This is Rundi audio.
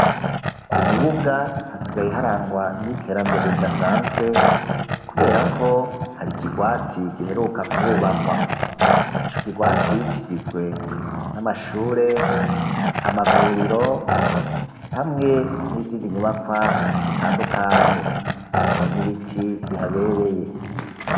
Ku Mubuga hasigaye harangwa n'iterambere ridasanzwe. Kubera ko hari ikigwati giheruka kuhubakwa. Ico kigwati kigizwe n'amashure, amavuriro hamwe n'izindi nyubakwa zitandukanye. Hari n'ibiti bihabereye.